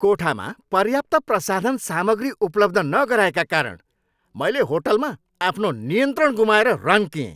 कोठामा पर्याप्त प्रसाधन सामग्री उपलब्ध नगराएका कारण मैले होटलमा आफ्नो नियन्त्रण गुमाएर रन्किएँ।